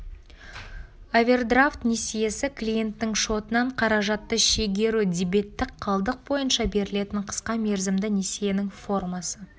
овердравт несиесі клиенттің шотынан қаражатты шегеру дебеттік қалдық бойынша берілетін қысқа мерзімді несиенің формасы